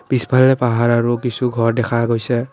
পিছফালেৰে পাহাৰ আৰু কিছু ঘৰ দেখা গৈছে।